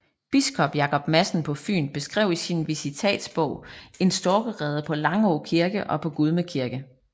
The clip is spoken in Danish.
Biskop Jacob Madsen på Fyn beskrev i sin visitatsbog en storkerede på Langå Kirke og på Gudme Kirke